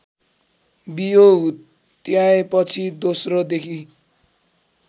बियो हुत्याएपछि दोस्रोदेखि